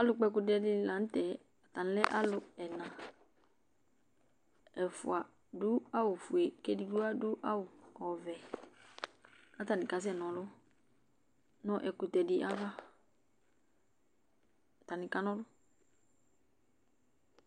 alʊ kpɔ ɛkʊtɛ ɛla dɩnɩ lanʊtɛ, ɛfua adʊ awu fue kʊ edigbo adʊ awu vɛ kʊ atanɩ kana ɔlʊ nʊ ɛkʊtɛ dɩ ava